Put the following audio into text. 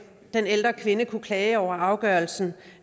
den ældre kvinde kunne klage over afgørelsen